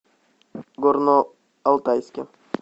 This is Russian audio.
горно алтайске